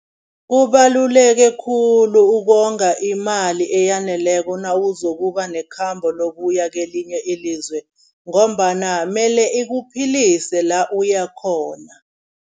Kubaluleke khulu ukonga imali eyaneleko nawuzokuba nekhamba lokuya kelinye ilizwe ngombana, mele ikuphilise la uyakhona.